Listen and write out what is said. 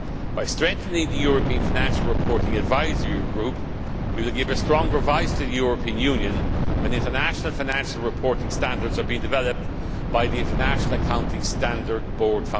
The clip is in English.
By strengthening the European Financial Reporting Advisory Group we will provide stronger advice for the European Union when international financial reporting standards are being developed by the International Accounting Standards Board.